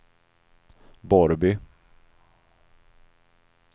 Borrby